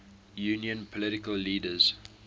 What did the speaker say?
union political leaders